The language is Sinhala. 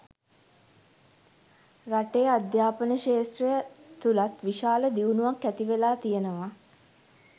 රටේ අධ්‍යාපන ක්‍ෂේත්‍රය තුළත් විශාල දියුණුවක් ඇතිවෙලා තියෙනවා